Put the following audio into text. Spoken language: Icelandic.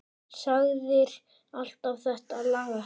Sagðir alltaf þetta lagast.